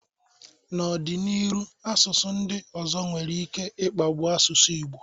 N'ọ dị n'iru asụsụ ndị ọzọ nwere ike i kpagbụ asụsụ Igbo.